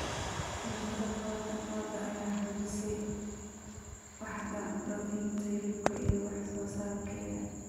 Taranta lo'da lo'da ayaa xoojisay waaxda dhoofinta hilibka iyo wax soo saarkeeda.